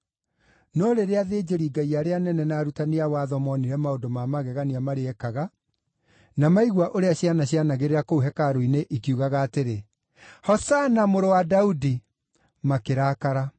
No rĩrĩa athĩnjĩri-Ngai arĩa anene na arutani a watho moonire maũndũ ma magegania marĩa eekaga, na maigua ũrĩa ciana cianagĩrĩra kũu hekarũ-inĩ ikiugaga atĩrĩ, “Hosana Mũrũ wa Daudi,” makĩrakara.